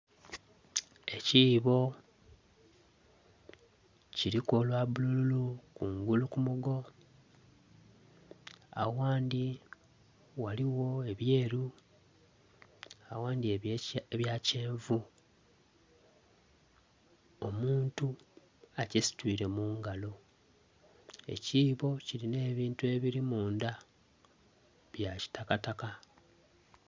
Ekibbo kiliku olwa bululu kungulu ku mugoo agandhi ghaligho ebyeru agandhi ebya kyenvu omuntu akisitwire mu ngalo. Ekibbo kilina ebintu ebiri mundha bya kitakataka.